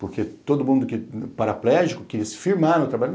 Porque todo mundo paraplégico quis se firmar no trabalho.